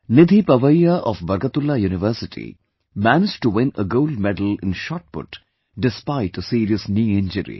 Nidhi Pawaiya of Barkatullah University managed to win a Gold Medal in Shotput despite a serious knee injury